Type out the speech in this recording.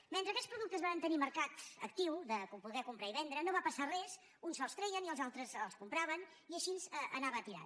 mentre aquests productes varen tenir mercat actiu de poder comprar i vendre no va passar res uns se’ls treien i els altres els compraven i així anava tirant